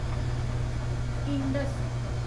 Indus